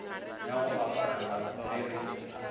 ya go aparela ge re